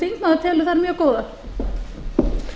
virðulegi forseti mér þykir það